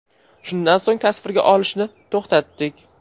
Shundan so‘ng tasvirga olishni to‘xtatdik.